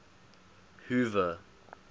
hoover